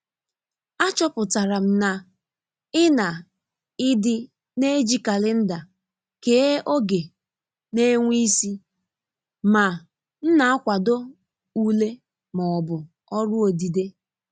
Achọpụtara m na i na i di n'eji kalenda kee oge n'ènwe isị ma m n'akwado ule ma ọ bụ ọrụ odide.